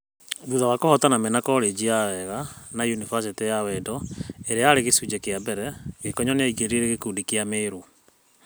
Thutha wa kuhotana mena korenji ya Wega na yunifasĩtĩ ya Wendo ĩrĩa yarĩ ya gĩcunjĩ kĩa mbere, Gĩkonyo nĩaingirire gĩkundi kĩa Merũ.